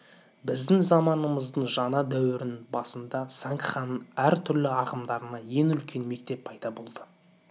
біздің заманымыздың жаңа дәуірінің басында сангханың әр түрлі ағымдарынан екі үлкен мектеп пайда болды